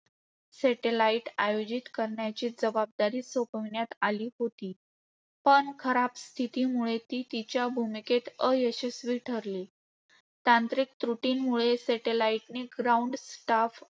Satellite आयोजित करण्याची जबाबदारी सोपविण्यात आली होती पण खराब स्थितीमुळे ती तिच्या भूमिकेत अयशस्वी ठरली. तांत्रिक त्रुटींमुळे, Satellite ने ground staff